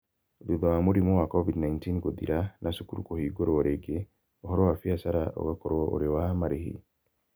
Thutha wa mũrimũ wa COVID-19 gũthira na cukuru kũhingũrwo rĩngĩ, ũhoro wa biacara ũgakorũo ũrĩ wa marĩhi.